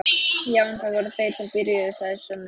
Já en, það voru þeir sem byrjuðu, sagði Svenni.